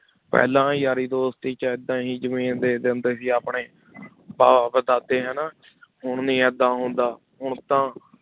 ਪਹਿਲਾਂ ਯਾਰੀ ਦੋਸਤੀ 'ਚ ਏਦਾਂ ਹੀ ਜ਼ਮੀਨ ਦੇ ਦਿੰਦੇ ਸੀ ਆਪਣੀ ਭਾਅ ਵਧਾ ਦਿੱਤੇ ਹਨਾ ਹੁਣ ਨੀ ਏਦਾਂ ਹੁੰਦਾ ਹੁਣ ਤਾਂ